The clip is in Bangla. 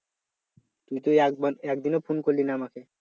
তুই তো একবার একদিনও phone করলি না আমাকে